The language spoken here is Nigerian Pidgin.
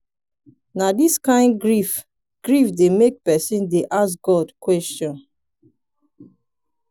na dis kain grief grief dey make pesin dey ask god question.